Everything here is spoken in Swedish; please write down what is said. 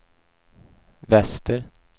väster